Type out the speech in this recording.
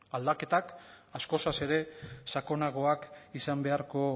aldaketak askoz ere sakonagoak izan beharko